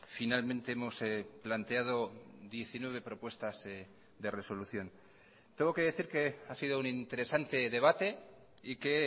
finalmente hemos planteado diecinueve propuestas de resolución tengo que decir que ha sido un interesante debate y que